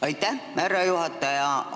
Aitäh, härra juhataja!